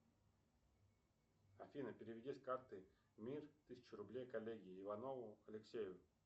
афина переведи с карты мир тысячу рублей коллеге иванову алексею